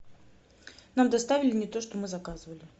нам доставили не то что мы заказывали